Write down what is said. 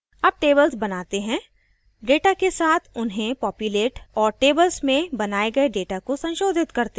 अब tables बनाते हैं data के साथ उन्हें पॉप्यूलेट और tables में बनाए गए data को संशोधित करते हैं